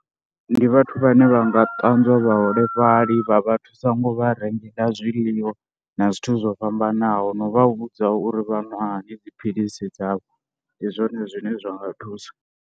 Ndi vhathu vhane vha nga ṱanzwa vhaholefhali vha vha thusa ngo vha rengela zwiḽiwa na zwithu zwo fhambanaho. No vha vhudza uri vha ṅwa hani dziphilisi dzavho, ndi zwone zwine zwa nga thusa.